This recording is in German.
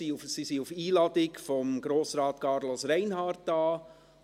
Sie ist auf Einladung von Grossrat Carlos Reinhard hier.